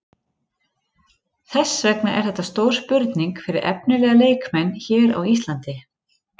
Þess vegna er þetta stór spurning fyrir efnilega leikmenn hér á Íslandi.